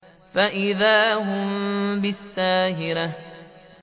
فَإِذَا هُم بِالسَّاهِرَةِ